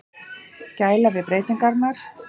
Gæla við breytingarnar.